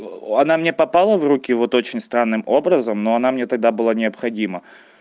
о она мне попала в руки вот очень странным образом но она мне тогда была необходима